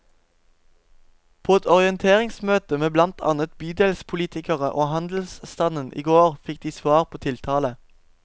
På et orienteringsmøte med blant annet bydelspolitikere og handelsstanden i går fikk de svar på tiltale.